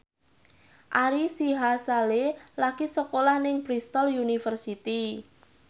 Ari Sihasale lagi sekolah nang Bristol university